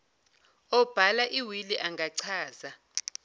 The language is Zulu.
obhala iwili engachaza